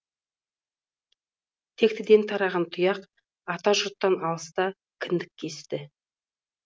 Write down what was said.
тектіден тараған тұяқ ата жұрттан алыста кіндік кесті